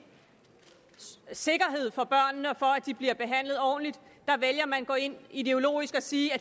sikkerhed for børnene og for at de bliver behandlet ordentligt vælger man at gå ind ideologisk og sige at